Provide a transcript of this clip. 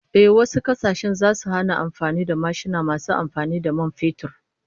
Ehh, wasu kasashen zasu hana amfani da mashina masu amfani da man fetur